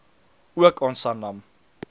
ook aan sanlam